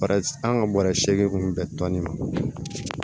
An ka bɔrɛ seegin kun bɛn tɔni ma